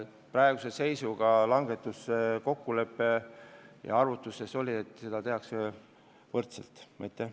Praeguse seisuga on kokku lepitud, et tehakse võrdne langetus.